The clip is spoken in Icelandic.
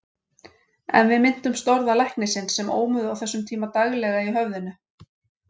En við minntumst orða læknisins sem ómuðu á þessum tíma daglega í höfðinu.